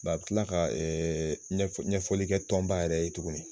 Ba i be kiila ka ɛɛ ɲɛfɔ ɲɛfɔlikɛ tɔnba yɛrɛ ye tuguni